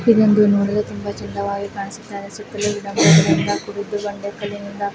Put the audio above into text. ಇದೊಂದು ನೋಡಲು ತುಂಬಾ ಚಂದವಾಗಿ ಕಾಣಿಸುತ್ತಾ ಇದೆ ಸುತ್ತಲೂ ಗಿಡ ಮರಗಳಿಂದ ಕೂಡಿದ್ದು ಬಂಡೆ ಕಲ್ಲಿಂದ ಕೂಡಿದ್ದು--